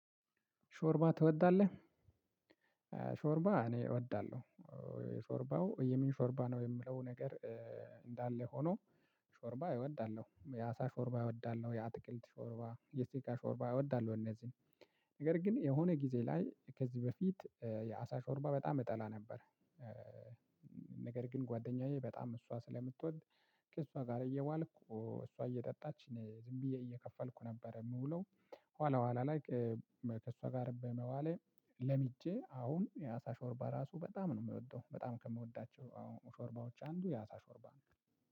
ሾርባ ትወዳለህ? ሾርባ እኔ እወዳለሁ የሾርባው የምን ሾርባ ነው የምለው ነገር። እንዳለ ሆኖ ሾርባ እወዳለሁ የአሳ ሾርባ እወዳለሁ። የአትክልት ሾርባ የስጋ ሾርባ እወዳለሁ እነዚህ ነገር ግን የሆነ ጊዜ ላይ ከዚህ በፊት የአሳ ሾርባ በጣም እጠላ ነበር። ነገር ግን ጓደኛዬ በጣም እሷ ስለምትወድ ከእሷ ጋር እየዋልኩ እሷ እየጠጣች እኔ ዝምብዬ እየከፈልኩ ነበር የምውለው። ኋላ ኋላ ላይ ከእሷ ጋር በመዋለ ለሚጄ አሁን የአሳ ሾርባ ራሱ በጣም ነው የምወደው። በጣም ከምወዳቸው አሁን ሾርባዎች አንዱ የአታ ሾርባ ነው።